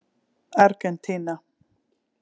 Argentína